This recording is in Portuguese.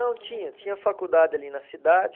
Não tinha, tinha faculdade ali na cidade.